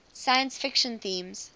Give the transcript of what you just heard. science fiction themes